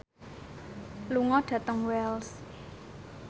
lunga dhateng Wells